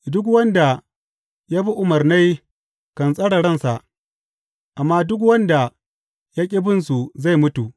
Duk wanda ya bi umarnai kan tsare ransa, amma duk wanda ya ƙi binsu zai mutu.